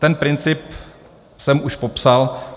Ten princip jsem už popsal.